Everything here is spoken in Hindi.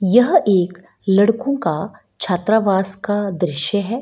यह एक लड़को का छात्रावास का दृश्य है।